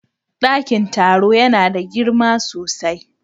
Dakin taro yana da girma sosai.